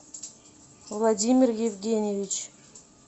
владимир евгеньевич